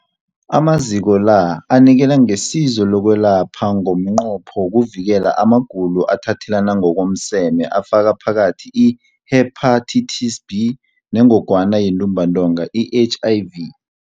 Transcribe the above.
Amaziko la anikela ngesizo lokwelapha ngomnqopho wokuvikela amagulo athathelana ngokomseme afaka phakathi i-Hepatitis B neNgogwana yeNtumbantonga, i-HIV.